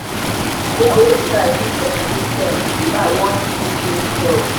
i dey always try leave on good terms if i wan even change job.